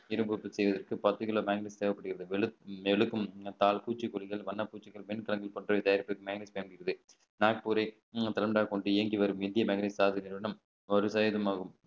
இரும்பு உற்பத்தி செய்வதற்கு பத்து கிலோ magnet தேவைப்படுகிறது மெழுகும் பூச்சிக்கொல்லிகள் வண்ணப்பூச்சிகள் வெண்கலங்கள் போன்றவை தயாரிப்புகள் minus ல இருக்குது நாக்பூர் கொண்டு இயங்கி வரும் இந்திய மேக்னெட் நிறுவனம் ஒரு சதவீதம் ஆகும்